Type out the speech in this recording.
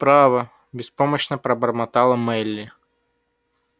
право беспомощно пробормотала мелли